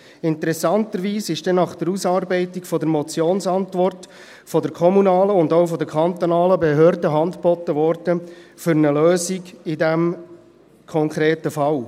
Interessanterweise ist dann nach der Ausarbeitung der Motionsantwort von der kommunalen und auch von der kantonalen Behörde Hand geboten worden für eine Lösung in diesem konkreten Fall.